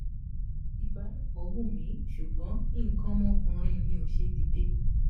ìbálòpọ̀ wun mi ṣùgbọ́n ikan ọmọ ọkùnrin mi o sẹ dide